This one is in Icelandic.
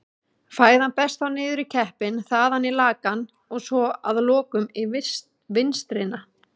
Fæðan berst þá niður í keppinn, þaðan í lakann og svo að lokum í vinstrina.